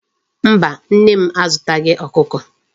Mba, Nne m azutaghi Okuko